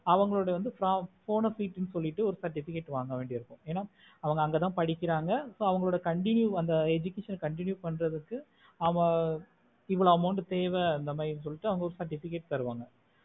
அவங்களோட bonafide னு சொல்லிட்டு ஒரு certificate வாங்க வேண்டியது இருக்கும் ஏன்னா அவங்க அங்கத படிக்குறாங்க so அவங்களாலோட continue அந்த education ஆஹ் continue பண்ணுறதுக்கு அத எவ்ளோ amount தேவை அந்த மாறினு சொல்லிட்டுஅவங்க உங்களுக்கு ஒரு certificate தருவாங்க